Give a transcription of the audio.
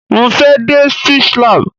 Mo fẹ́ dé Speech lab.